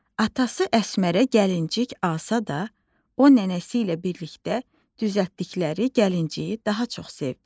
Atası Əsmərə gəlincik alsa da, o nənəsi ilə birlikdə düzəltdikləri gəlinciyi daha çox sevdi.